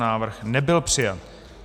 Návrh nebyl přijat.